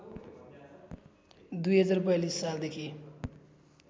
२०४२ सालदेखि